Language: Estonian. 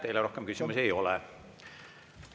Teile rohkem küsimusi ei ole.